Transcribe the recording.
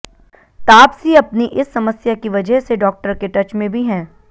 तापसी अपनी इस समस्या की वजह से डॉक्टर के टच में भी हैं